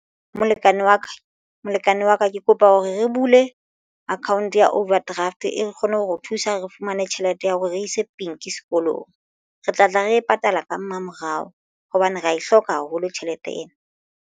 molekane wa ka ke kopa hore re bule account ya overdraft e re kgone ho thusa re fumane tjhelete ya hore re ise Pink sekolong re tlatla re e patala ka mmamorao hobane re ya e hloka haholo tjhelete ena.